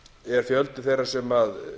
er fjöldi þeirra sem